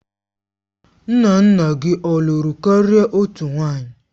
Nna nna gị ọ lụrụ karịa otu nwanyị?